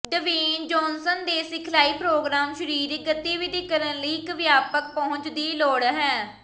Dwayne Johnson ਦੇ ਸਿਖਲਾਈ programme ਸਰੀਰਕ ਗਤੀਵਿਧੀ ਕਰਨ ਲਈ ਇੱਕ ਵਿਆਪਕ ਪਹੁੰਚ ਦੀ ਲੋੜ ਹੈ